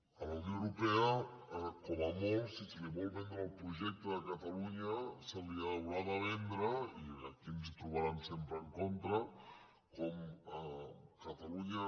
a la unió europea com a molt si se li vol vendre el projecte de catalunya se li haurà de vendre i aquí ens hi trobaran sempre en contra com a catalunya